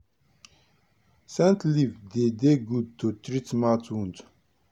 scent leaf dey dey good to treat mouth wound.